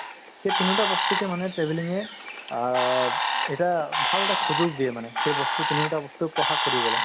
সেই তিনিওটা বস্তুকে মানে travelling য়ে আব এটা ভালএটা সুযোগ দিয়ে মানে সেই বস্তু তিনিওটা বস্তু প্ৰকাশ কৰিব লাগে